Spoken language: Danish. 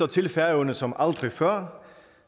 til færøerne som aldrig før